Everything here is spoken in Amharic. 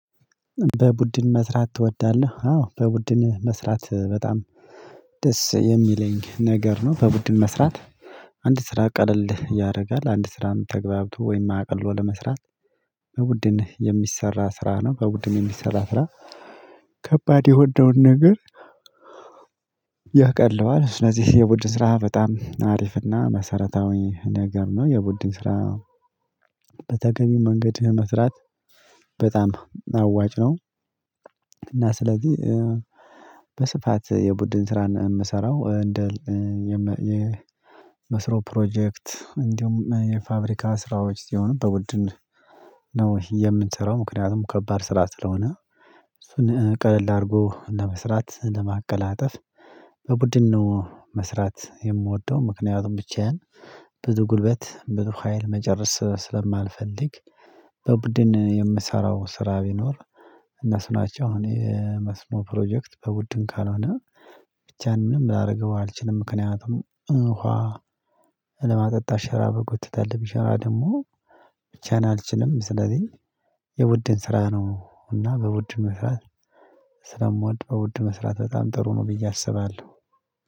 በቡድን መስራት ትወዳለህ? አዎ በቡድን መስራት በጣም ደስ የሚለኝ ነገር ነው። በቡድን መስራት አንድ ስራ ቀለል ያደርጋል፤ አንድ ስራም ተገባብቶ ወይም አቅልሎ ለመስራት በቡድን የሚሰራ ስራ ነው፤ በቡድን የሚሰራ ስራ ከባድ የሆነውን ነገር ያቀለዋል። ስለዚህ የቡድን ስራ በጣም አሪፍና መሰረታዊ ነገር ነው። የቡድን ስራ በተገቢው መንገድ መስራት በጣም አዋጭ ነው። እና ስለዚህ በስፋት የቡድን ስራን የምሰራው እንደ የመ የመስኖ ፕሮጀክት፤ እንዲሁም የፋብሪካ ስራዎች፤ ሲሆኑ በውድን ነው የምንሰራው ምክንያቱም ከባድ ስራ ስለሆነ። እሱን ቀለል አድርጎ ለመስራት፤ ለማቀላጠፍ በቡድን ነው መስራት የምወደው፤ ምክንያቱም ብቻዬን ብዙ ጉልበት፤ ብዙ ሀይል፤ መጨረስ ስለማልፈልግ፤ በቡድን የምሰራው ስራ ቢኖር እነሱ ናቸው አሁን የመስሞ ፕሮጀክት በውድን ካልሆነ ብቻዬን ምንም ላደርገው አልችልም ምክንያቱም ኡሃ ለማጠጣት ሸራ መጎተት አለብኝ፤ ሸራ ደግሞ ብቻዬን አልችልም፤ ስለዚህ የቡድን ስራ ነው እና በቡድን መስራት ስለምወድ በውድ መስራት በጣም ጥሩ ነው ብዬ አስባለሁ።